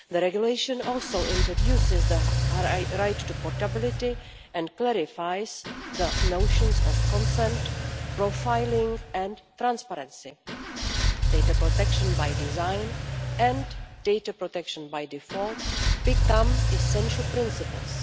The regulation also introduces the right to portability and clarifies the notions of consent, profiling and transparency. Data protection by design and data protection by default become essential principles.